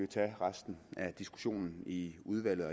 tage resten af diskussionen i udvalget